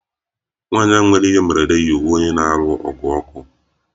Nwanyị ahụ nwere ihe mberede yi uwe onye na-alụ ọgụ ọkụ